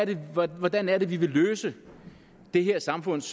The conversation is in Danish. ville hvordan hvordan er det vi vil løse det her samfunds